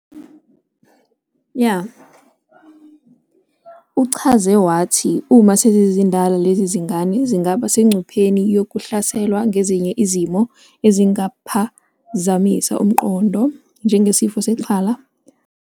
Uchaze wathi uma sezizindala, lezi zingane zingaba sengcupheni yokuhlaselwa ngezinye izimo ezingaphazamisa umqondo, njengesifo sexhala.